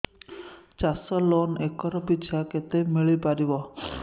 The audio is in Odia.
ଚାଷ ଲୋନ୍ ଏକର୍ ପିଛା କେତେ ମିଳି ପାରିବ